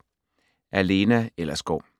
Af Lena Ellersgaard